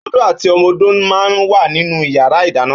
Ódó àtí òmò ódó mà n wá ninú iyàrá idàná